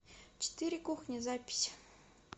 четыре кухни запись